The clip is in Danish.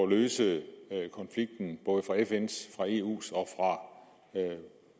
at løse konflikten både fra fns eus og